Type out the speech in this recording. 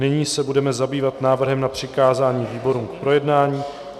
Nyní se budeme zabývat návrhem na přikázání výborům k projednání.